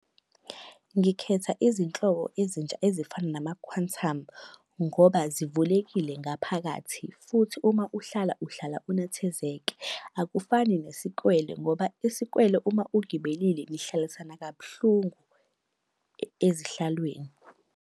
Ngikhetha izinhlobo ezintsha ezifana nama-Quantum, ngoba zivulekile ngaphakathi futhi uma uhlala uhlala unethezeke. Akufani nesikwele, ngoba isikwele uma ugibelile nihlalisana kabuhlungu ezihlalweni.